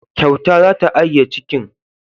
Kyauta za ta agiye cikin.